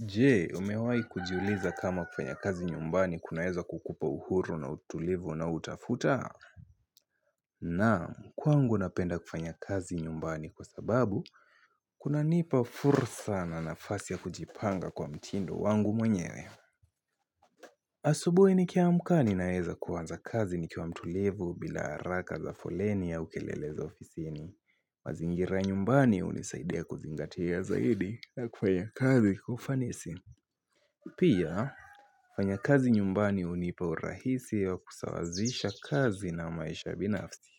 Jee umewahi kujiuliza kama kufanya kazi nyumbani kunaeza kukupa uhuru na utulivu unaotafuta Naam kwangu napenda kufanya kazi nyumbani kwa sababu kunanipa fursa na nafasi ya kujipanga kwa mtindo wangu mwenyewe asubuhi nikiamka ninaeza kuanza kazi nikiwa mtulivu bila haraka za foleni au kelele za ofisini mazingira ya nyumbani hunisaidia kuzingatia zaidi na kufanya kazi kwa ufanisi Pia kufanya kazi nyumbani hunipa urahisi wa kusawazisha kazi na maisha binafsi